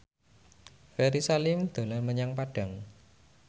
Ferry Salim dolan menyang Padang